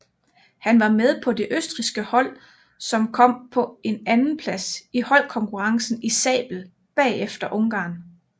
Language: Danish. Han var med på det østrigske hold som kom på en andeplads i holdkonkurrencen i sabel bagefter Ungarn